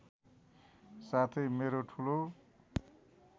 साथै मेरो ठुलो